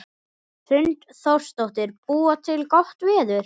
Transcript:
Hrund Þórsdóttir: Búa til gott veður?